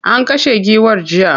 An kashe giwar jiya.